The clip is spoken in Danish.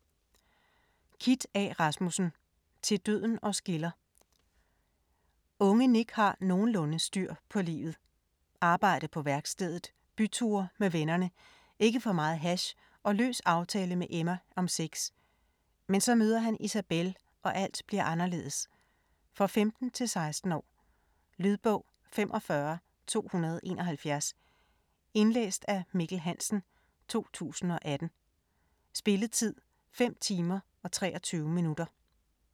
Rasmussen, Kit A.: Til døden os skiller Unge Nick har nogenlunde styr på livet. Arbejde på værkstedet, byture med vennerne, ikke for meget hash og løs aftale med Emma om sex. Men så møder han Isabelle og alt bliver anderledes. For 15-16 år. Lydbog 45271 Indlæst af Mikkel Hansen, 2018. Spilletid: 5 timer, 23 minutter.